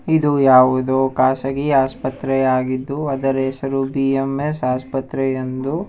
ಇದು ಯಾವುದೋ ಖಾಸಗಿ ಆಸ್ಪತ್ರೆಯಾಗಿದ್ದು ಅದರ ಹೆಸರು ಬಿ_ಎಂ_ಎಸ್ ಆಸ್ಪತ್ರೆಯೆಂದು--